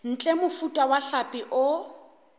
ntle mofuta wa hlapi o